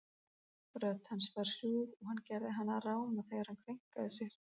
Rödd hans var hrjúf og hann gerði hana ráma þegar hann kveinkaði sér.